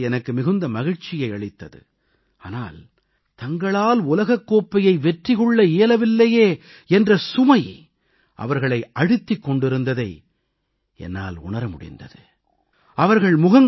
அவர்களோடு உரையாடியது எனக்கு மிகுந்த மகிழ்ச்சியை அளித்தது ஆனால் தங்களால் உலகக் கோப்பையை வெற்றி கொள்ள இயலவில்லையே என்ற சுமை அவர்களை அழுத்திக் கொண்டிருந்ததை என்னால் உணர முடிந்தது